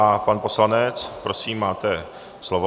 A pan poslanec, prosím, máte slovo.